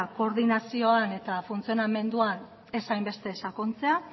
koordinazioan eta funtzionamenduan ez hainbeste sakontzea